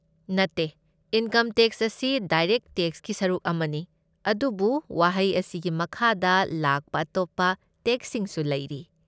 ꯅꯠꯇꯦ, income tax ꯑꯁꯤ direct ꯇꯦꯛꯁꯀꯤ ꯁꯔꯨꯛ ꯑꯃꯅꯤ, ꯑꯗꯨꯕꯨ ꯋꯥꯍꯩ ꯑꯁꯤꯒꯤ ꯃꯈꯥꯗ ꯂꯥꯛꯄ ꯑꯇꯣꯞꯄ ꯇꯦꯛꯁꯁꯤꯡꯁꯨ ꯂꯩꯔꯤ꯫